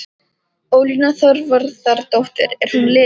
Ólína Þorvarðardóttir: Er hún liðin?